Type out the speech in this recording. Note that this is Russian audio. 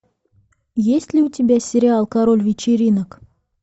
есть ли у тебя сериал король вечеринок